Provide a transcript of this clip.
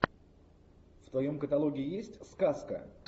в твоем каталоге есть сказка